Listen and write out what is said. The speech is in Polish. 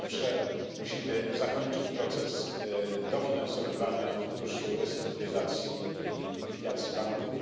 Po pierwsze musimy zakończyć proces dofinansowywania funduszu restrukturyzacji i likwidacji banków.